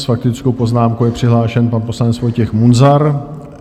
S faktickou poznámkou je přihlášen pan poslanec Vojtěch Munzar.